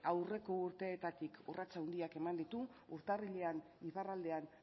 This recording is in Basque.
aurreko urteetatik urratsak handiak eman ditu urtarrilean iparraldean